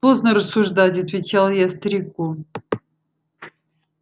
поздно рассуждать отвечал я старику